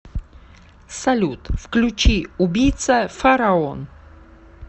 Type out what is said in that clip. салют включи убийца фараон